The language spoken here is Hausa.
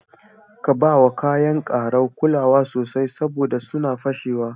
Ka bawa kaya karau kulawa sosai saboda sunna fashewa.